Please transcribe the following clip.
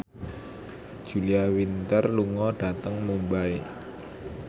Julia Winter lunga dhateng Mumbai